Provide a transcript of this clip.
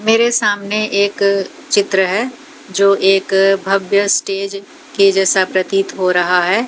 मेरे सामने एक चित्र है जो एक भव्य स्टेज के जैसा प्रतित हो रहा है।